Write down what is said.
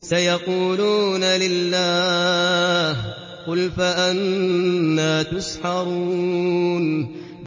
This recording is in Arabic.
سَيَقُولُونَ لِلَّهِ ۚ قُلْ فَأَنَّىٰ تُسْحَرُونَ